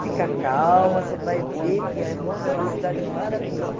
Fica calma, você vai ver que Roma é uma cidade maravilhosa.